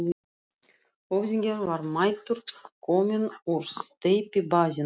Höfðinginn var mættur, kominn úr steypibaðinu.